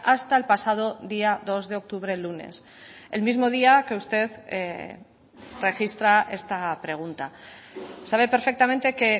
hasta el pasado día dos de octubre lunes el mismo día que usted registra esta pregunta sabe perfectamente que